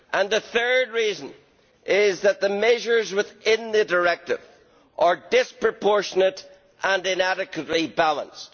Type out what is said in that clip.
The third reason is that the measures within the directive are disproportionate and inadequately balanced.